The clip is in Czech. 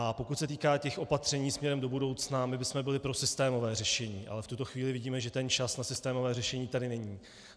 A pokud se týká těch opatření směrem do budoucna, my bychom byli pro systémové řešení, ale v tuto chvíli vidíme, že ten čas na systémové řešení tady není.